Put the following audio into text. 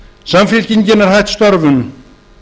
samfylkingin er hætt störfum